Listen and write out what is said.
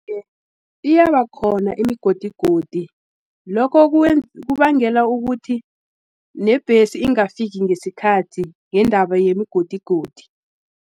Iye, iyabakhona imigodigodi, Lokho kubangela ukuthi nebhesi ingafiki ngesikhathi, ngendaba yemigodigodi.